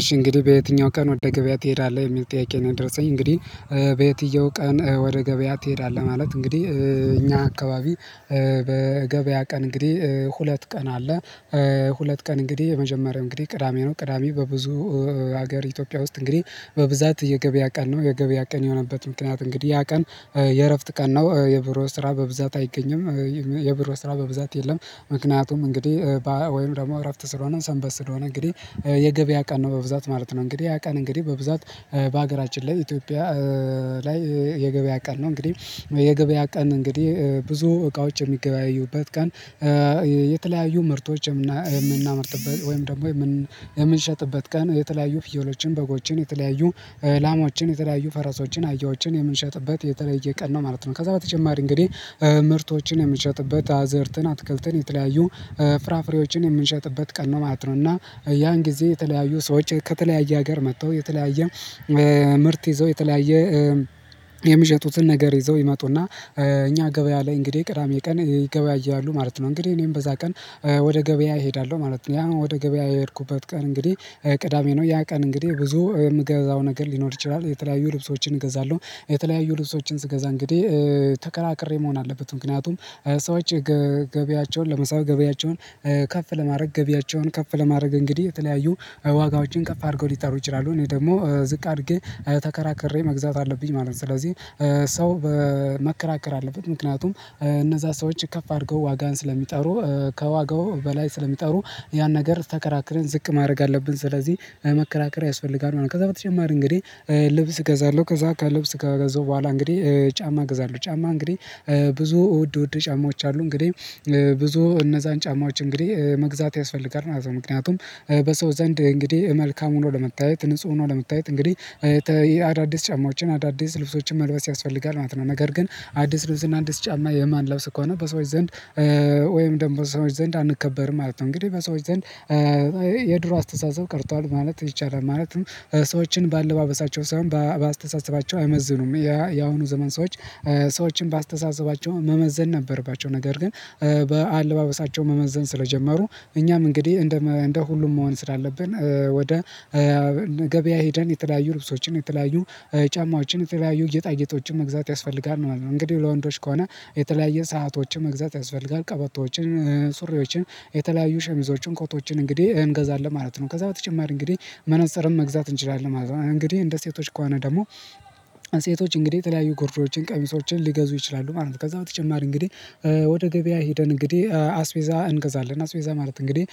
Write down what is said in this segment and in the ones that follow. እሺ፣ እንግዲህ በየትኛው ቀን ወደ ገበያ ትሄዳለህ? የሚል ጥያቄ ነው የደረሰኝ። እንግዲህ በየትኛው ቀን ወደ ገበያ ትሄዳለህ? ማለት እንግዲህ በእኛ አካባቢ የገበያ ቀን ሁለት ቀን አለ ሁለት ቀን እንግዲህ የመጀመሪያው ቅዳሜ ነው። ቅዳሜ በብዙ የኢትዮጵያ ክፍሎች በብዛት የገበያ ቀን ነው። የገበያ ቀን የሆነበት ምክንያት እንግዲህ ያ ቀን የእረፍት ቀን ነው፤ የቢሮ ስራ በብዛት አይገኝም፤ የቢሮ ስራ በብዛት የለም። ምክንያቱም እንግዲህ ባህል ወይም ደግሞ እረፍት ስለሆነ፣ ሰንበት ስለሆነ በብዛት የገበያ ቀን ነው ማለት ነው። ያ ቀን በብዛት በአገራችን ላይ ኢትዮጵያ ላይ የገበያ ቀን ነው። የገበያ ቀን እንግዲህ ብዙ እቃዎች የሚገበያዩበት ቀን የተለያዩ ምርቶች የምናመርትበት ወይም ደግሞ የምንሸጥበት ቀን፤ የተለያዩ ፍየሎችን፣ በጎችን፣ ላሞችን፣ ፈረሶችን፣ አህዮችን የምንሸጥበት የተለየ ቀን ነው ማለት ነው። ከዚያ በተጨማሪ እንግዲህ ምርቶችን የምንሸጥበት፤ አዝርዕትን፣ አትክልትን፣ የተለያዩ ፍራፍሬዎችን የምንሸጥበት ቀን ነው ማለት ነው፤ እና ያን ጊዜ የተለያዩ ሰዎች ከተለያየ አገር መጥተው፣ የተለያየ ምርት ይዘው፣ የተለያየ የሚሸጡትን ነገር ይዘው ይመጡና እኛ ገበያ ላይ እንግዲህ ቅዳሜ ቀን ይገበያያሉ ማለት ነው። እንግዲህ እኔም በዚያ ቀን ወደ ገበያ እሄዳለሁ ማለት ነው። ያ ወደ ገበያ የሄድኩበት ቀን እንግዲህ ቅዳሜ ነው። ያ ቀን እንግዲህ ብዙ የምገዛው ነገር ሊኖር ይችላል፤ የተለያዩ ልብሶችን እገዛለሁ። የተለያዩ ልብሶችን ስገዛ እንግዲህ ተከራክሬ መሆን አለበት፤ ምክንያቱም ሰዎች ገቢያቸውን ለመሳብ፣ ገበያቸውን ከፍ ለማድረግ እንግዲህ የተለያዩ ዋጋዎችን ከፍ አድርገው ሊጠሩ ይችላሉ። እኔ ደግሞ ዝቅ አድርጌ ተከራክሬ መግዛት አለብኝ ማለት ነው። ስለዚህ ሰው መከራከር አለበት፤ ምክንያቱም እነዚያ ሰዎች ከፍ አድርገው ዋጋን ስለሚጠሩ፣ ከዋጋው በላይ ስለሚጠሩ ያን ነገር ተከራክረን ዝቅ ማድረግ አለብን። ስለዚህ መከራከር ያስፈልጋል። ከዚያ በተጨማሪ እንግዲህ ልብስ እገዛለሁ፤ ከዚያ ልብስ ከገዛሁ በኋላ እንግዲህ ጫማ እገዛለሁ። ጫማ እንግዲህ ብዙ ውድ ውድ ጫማዎች አሉ፤ እንግዲህ እነዚያን ጫማዎች መግዛት ያስፈልጋል ማለት ነው። ምክንያቱም በሰው ዘንድ መልካም ሆኖ ለመታየት፣ ንጹህ ሆኖ ለመታየት እንግዲህ አዳዲስ ጫማዎችን፣ አዳዲስ ልብሶችን መልበስ ያስፈልጋል ማለት ነው። ነገር ግን አዲስ ልብስ እና አዲስ ጫማ የማንለብስ ከሆነ፣ በሰዎች ዘንድ ወይም ደግሞ በሰዎች ዘንድ አንከበርም ማለት ነው። እንግዲህ በሰዎች ዘንድ የድሮ አስተሳሰብ ቀርቷል ማለት ይቻላል ማለትም ሰዎችን በአለባበሳቸው ሳይሆን በአስተሳሰባቸው አይመዝኑም። ያ የአሁኑ ዘመን ሰዎች ሰዎችን በአስተሳሰባቸው መመዘን ነበርባቸው፤ ነገር ግን በአለባበሳቸው መመዘን ስለጀመሩ፣ እኛም እንግዲህ እንደ ሁሉም መሆን ስላለብን ወደ ገበያ ሄደን የተለያዩ ልብሶችን፣ የተለያዩ ጫማዎችን፣ የተለያዩ ጌጣጌጦችን መግዛት ያስፈልጋል ማለት ነው። እንግዲህ ለወንዶች ከሆነ የተለያዩ ሰአቶችን መግዛት ያስፈልጋል፤ ቀበቶዎችን፣ ሱሪዎችን፣ የተለያዩ ሸሚዞችን፣ ኮቶችን እንግዲህ እንገዛለን ማለት ነው። ከዚያ በተጨማሪ እንግዲህ መነጽርም መግዛት እንችላለን ማለት ነው። እንግዲህ እንደ ሴቶች ከሆነ ደግሞ ሴቶች እንግዲህ የተለያዩ ጉርዶችን፣ ቀሚሶችን ሊገዙ ይችላሉ ማለት ነው። ከዚያ በተጨማሪ እንግዲህ ወደ ገበያ ሄደን እንግዲህ አስቤዛ እንገዛለን። አስቤዛ ማለት እንግዲህ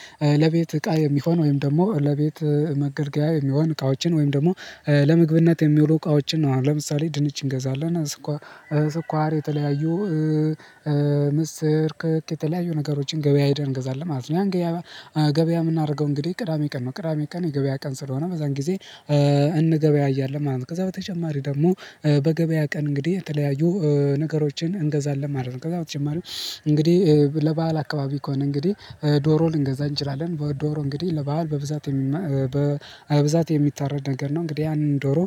ለቤት እቃ የሚሆን ወይም ደግሞ ለቤት መገልገያ የሚሆኑ እቃዎችን፣ ወይም ደግሞ ለምግብነት የሚውሉ እቃዎችን ነው። አሁን ለምሳሌ ድንች እንገዛለን፣ ስኳር፣ የተለያዩ ምስር፣ ክክ፣ የተለያዩ ነገሮችን ገበያ ሄደን እንገዛለን ማለት ነው። ያን ገበያ የምናደርገው እንግዲህ ቅዳሜ ቀን ነው፤ ቅዳሜ ቀን የገበያ ቀን ስለሆነ በዚያን ጊዜ እንገበያያለን ማለት ነው። ከዚያ በተጨማሪ ደግሞ በገበያ ቀን እንግዲህ የተለያዩ ነገሮችን እንገዛለን ማለት ነው። ከዚያ በተጨማሪ እንግዲህ ለበአል አካባቢ ከሆነ እንግዲህ ዶሮ ልንገዛ እንችላለን፤ ዶሮ እንግዲህ ለበአል በብዛት የሚታረድ ነገር ነው። እንግዲህ ያንን ዶሮ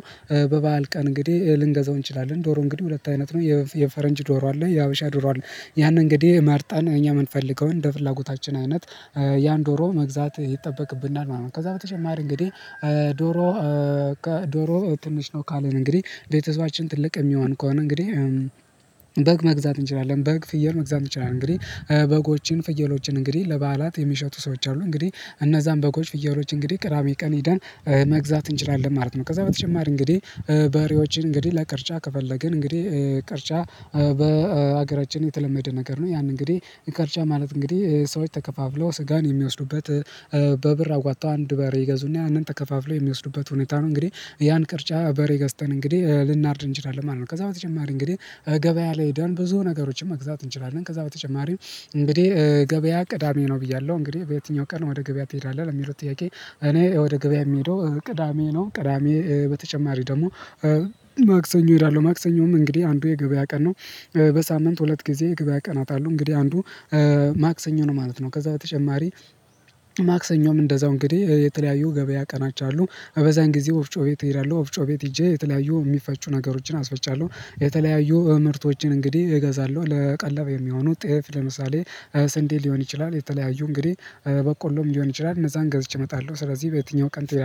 በበዓል ቀን እንግዲህ ልንገዛው እንችላለን። ዶሮ እንግዲህ ሁለት አይነት ነው፤ የፈረንጅ ዶሮ አለ፣ የሐበሻ ዶሮ አለ። ያንን እንግዲህ መርጠን እኛ የምንፈልገውን እንደ ፍላጎታችን አይነት ያን ዶሮ መግዛት ይጠበቅብናል ማለት ነው። ከዚያ በተጨማሪ እንግዲህ ዶሮ ትንሽ ነው ካልን፣ ቤተሰባችን ትልቅ የሚሆን ከሆነ በግ መግዛት እንችላለን፤ በግ፣ ፍየል መግዛት እንችላለን። እንግዲህ በጎችን፣ ፍየሎችን እንግዲህ ለበዓላት የሚሸጡ ሰዎች አሉ፤ እንግዲህ እነዚያን በጎች፣ ፍየሎች እንግዲህ ቅዳሜ ቀን ሄደን መግዛት እንችላለን ማለት ነው። ከዛ በተጨማሪ እንግዲህ በሬዎችን እንግዲህ ለቅርጫ ከፈለግን እንግዲህ ቅርጫ በአገራችን የተለመደ ነገር ነው። ያን እንግዲህ ቅርጫ ማለት እንግዲህ ሰዎች ተከፋፍለው ሥጋን የሚወስዱበት፣ በብር አዋጥተው አንድ በሬ ይገዙና ያንን ተከፋፍለው የሚወስዱበት ሁኔታ ነው። እንግዲህ ያን የቅርጫ በሬ ገዝተን እንግዲህ ልናርድ እንችላለን ማለት ነው። ከዚያ በተጨማሪ እንግዲህ ገበያ ላይ ሄደን ብዙ ነገሮችን መግዛት እንችላለን፤ ከዚያ በተጨማሪም እንግዲህ ገበያ ቅዳሜ ነው ብያለሁ። እንግዲህ በየትኛው ቀን ወደ ገበያ ትሄዳለህ? ለሚለው ጥያቄ፣ እኔ ወደ ገበያ የምሄደው ቅዳሜ ነው። ከቅዳሜ በተጨማሪ ደግሞ ማክሰኞ እሄዳለሁ። ማክሰኞም እንግዲህ አንዱ የገበያ ቀን ነው። በሳምንት ሁለት ጊዜ የገበያ ቀናት አሉ፤ እንግዲህ አንዱ ማክሰኞ ነው ማለት ነው። ከዚያ በተጨማሪ ክሰኞም እንደዚሁ እንግዲህ የተለያዩ የገበያ ቀናት አሉ። በዚያን ጊዜ ወፍጮ ቤት እሄዳለሁ፤ ወፍጮ ቤት ሄጄ የተለያዩ የሚፈጩ ነገሮችን አስፈጫለሁ። የተለያዩ ምርቶችን እንግዲህ እገዛለሁ፤ ለቀለብ የሚሆኑትን ለምሳሌ ስንዴ ሊሆን ይችላል፣ የተለያዩ እንግዲህ በቆሎም ሊሆን ይችላል፤ እነዚያን ገዝቼ እመጣለሁ። ስለዚህ በየትኛው ቀን ትሄዳለህ?